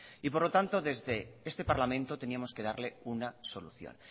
por lo tanto desde este parlamento teníamos que darle una solución